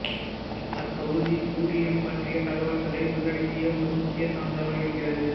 அத்தொகுதி உரியம் பற்றிய தகவல்களை உள்ளடக்கிய ஒரு முக்கியச் சான்றாக இருக்கிறது